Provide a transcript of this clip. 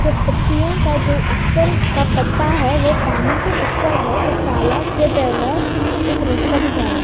जो पत्तियों का जो ऊपर का पत्ता है वो पानी के ऊपर है और तालाब के तहला एक रास्ता भी जा रहा है।